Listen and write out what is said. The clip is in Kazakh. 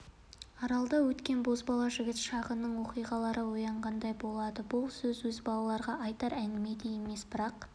аралда өткен бозбала жігіт шағының оқиғалары оянғандай болады бұл өзі балаларға айтар әңгіме де емес бірақ